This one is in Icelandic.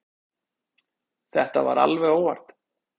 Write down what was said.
Þetta var alveg óvart.